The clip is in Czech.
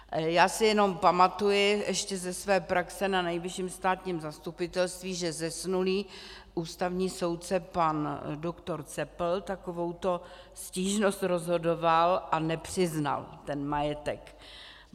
Já si jenom pamatuji ještě ze své praxe na Nejvyšším státním zastupitelství, že zesnulý ústavní soudce pan doktor Cepl takovouto stížnost rozhodoval a nepřiznal ten majetek.